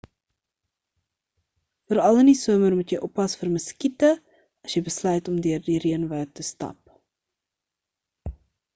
veral in die somer moet jy oppas vir muskiete as jy besluit om deur die reënwoud te stap